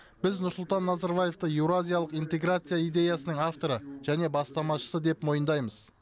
біз нұрсұлтан назарбаевты еуразиялық интеграция идеясының авторы және бастамашысы деп мойындаймыз